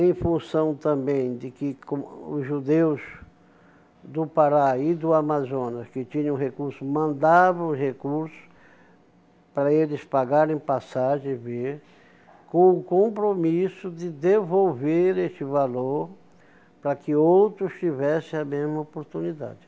em função também de que co os judeus do Pará e do Amazonas, que tinham recursos, mandavam recursos para eles pagarem passagem e vir, com o compromisso de devolver este valor para que outros tivessem a mesma oportunidade.